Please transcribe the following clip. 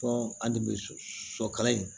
Fɔ an de be sɔ sɔkala in